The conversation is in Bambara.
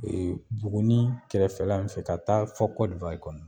E buguni kɛrɛfɛla in fɛ ka taa fɔ kɔdiwari kɔni